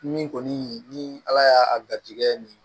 Min kɔni ni ala y'a garijigɛ min